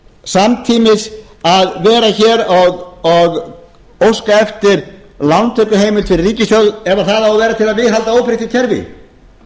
samtímis að vera hér og óska eftir lántökuheimild fyrir ríkissjóð ef það á að vera til að viðhalda óbreyttu kerfi